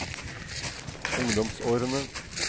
ungdomsårene